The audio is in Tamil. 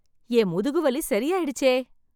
என் முதுகு வலி சரி ஆயிடுச்சே.